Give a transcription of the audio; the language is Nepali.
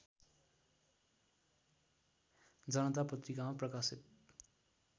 जनता पत्रिकामा प्रकाशित